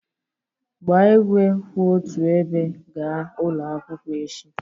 Gbaa igwe kwụ otu ebe gaa ụlọ akwụkwọ echi